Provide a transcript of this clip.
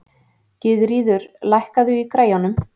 Gyðríður, lækkaðu í græjunum.